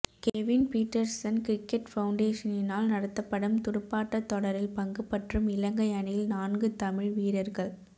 Kevin Pietersen cricket பவுண்டேசனினால் நடத்தப்படும் துடுப்பாட்டத் தொடரில் பங்குபற்றும் இலங்கை அணியில் நான்கு தமிழ் வீரர்கள்